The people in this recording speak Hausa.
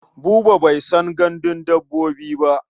Buba bai san gandun dabbobi ba.